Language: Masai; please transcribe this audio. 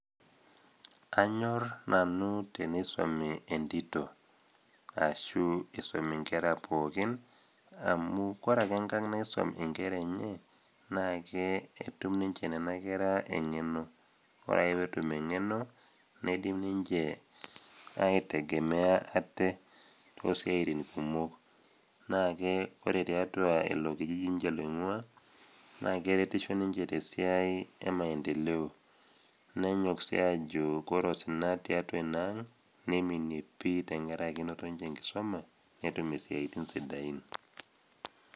anyorr nanu teisomi entito ashu isumi inkera pookin amu kore ake enkang naisum inkera enye naa ake ketum ninche nena kera eng'eno ore ake peetum eng'eno neidim ninche aitegemea ate tosiaitin kumok naake ore tiatua ilo kijiji inche loing'ua naa keretisho ninche tesiai e maendeleo nenyok sii ajo kore osina tiatua ina ang neiminie pii tenkaraki enoto ninche enkisuma netum isiaitin sidain.